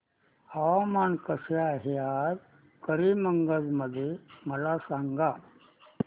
हवामान कसे आहे आज करीमगंज मध्ये मला सांगा